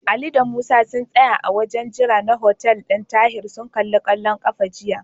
Ali da Musa sun tsaya a wajen jira na hotel ɗin Tahir sun kalli kwallon ƙafa jiya.